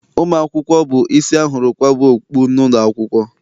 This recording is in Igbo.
Ụmụ akwụkwọ bụ isi ahụrụ kwaba okpu n'ụlọakwụkwọ.